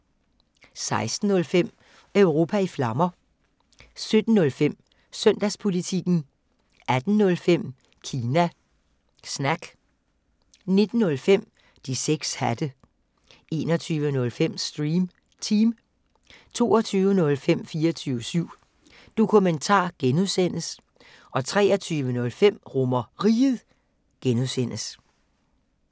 16:05: Europa i Flammer 17:05: Søndagspolitikken 18:05: Kina Snak 19:05: De 6 hatte 21:05: Stream Team 22:05: 24syv Dokumentar (G) 23:05: RomerRiget (G)